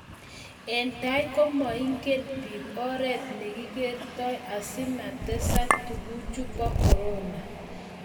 eng' tai ko maingen biik oret ne kikertoi asimatesaka tunguichu bo korona.